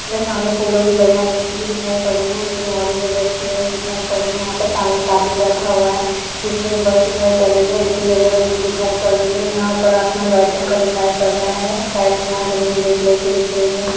सामने फूलों की लड़ियाँ लटकी हुई दिखाई पड़ रही हैं जो कि ऑरेंज रेड कलर में दिखाई पड़ रही है यहाँ पर सामने एक आदमी बैठा हुआ है पीछे एक बस दिखाई पड़ रही है जो की येल्लो रंग की दिखाई पड़ रही हैं यहाँ ऊपर आसमान वाइट रंग का दिखाई पड़ रहा है और साइड में यहाँ जमीन ग्रे कलर कि दिख रही है।